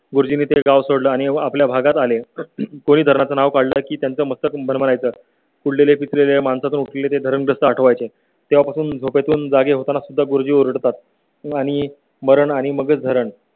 गुरुजींनीं ते गाव सोडले आणि आपल्या भागात आले कोणी धरणा चं नाव काढलं की त्याचं असतं पण म्हणायचं कुठले पिकलेल्या माणसा तुटले ते धरणग्रस्त पाठ वायचे तेव्हापासून झोपे तून जागे होताना सुद्धा गुरुजी ओरडतात आणि मरण आणि मगच धरण